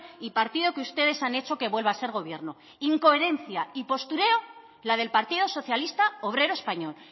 y partido que ustedes han hecho que vuelva a ser gobierno incoherencia y postureo la del partido socialista obrero español